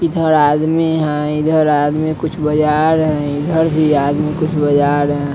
इधर आदमी है इधर आदमी कुछ बजा रहे है इधर भी आदमी कुछ बजा रहे है।